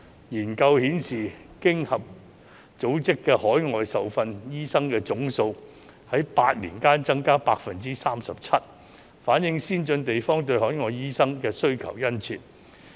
研究顯示，經濟合作與發展組織的海外受訓醫生總數在8年間增加了 37%， 反映先進地方對海外醫生的需求殷切。